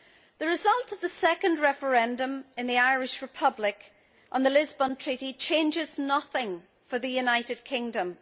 The result of the second referendum in the Irish Republic on the Lisbon Treaty changes nothing for the United Kingdom.